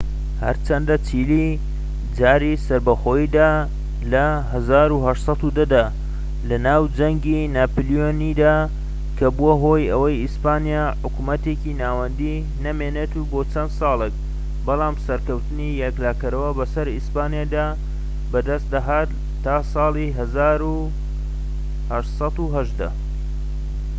هەرچەندە چیلی جاری سەربەخۆییدا لە ١٨١٠ دا لەناو جەنگی ناپلیۆنییدا کە بووە هۆی ئەوەی ئیسپانیا حکومەتێکی ناوەندیی نەمێنیت بۆ چەند سالێك، بەڵام سەرکەوتنی یەکلاکەرەوە بەسەر ئیسپانیادا بەدەستنەهات تا ساڵی ١٨١٨